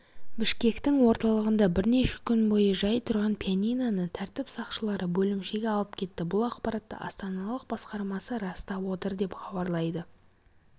бішкектің орталығында бірнеше күн бойы жай тұрған пианиноны тәртіп сақшылары бөлімшеге алып кетті бұл ақпаратты астаналық басқармасы растап отыр деп хабарлайды